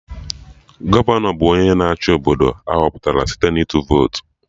Gọvanọ bụ onye na-achị Obodo, ahọpụtara site na ịtụ votu